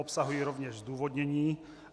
Obsahují rovněž zdůvodnění.